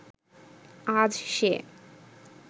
আজ সে